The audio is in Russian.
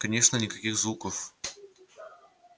конечно никаких звуков слышно не было